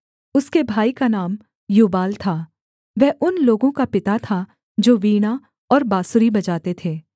उसके भाई का नाम यूबाल था वह उन लोगों का पिता था जो वीणा और बाँसुरी बजाते थे